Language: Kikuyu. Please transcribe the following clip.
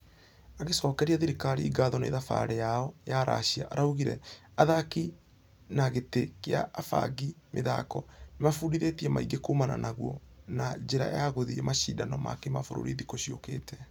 Akĩcokeria thirikarĩ ngatho nĩ thabarĩ yao ya russia araugire athaki na gĩtĩ gĩa abangi mĩthako nĩmefundithĩtie maingĩ kuumana naguo na ....njĩra ya gũthie mashidano ma kĩmabũrũri thikũ ciokĩte.